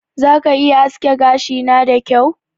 Za ka iya aske gashina da kyau?